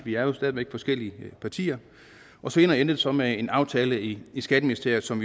vi er jo stadig væk forskellige partier og senere endte det så med en aftale i skatteministeriet som